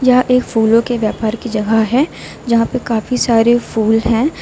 यह एक फूलों के व्यापार की जगह है जहां पर काफी सारे फूल हैं।